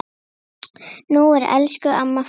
Nú er elsku amma farin.